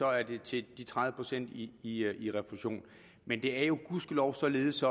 er det til de tredive procent i i refusion men det er gudskelov således